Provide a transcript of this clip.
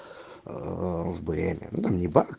блин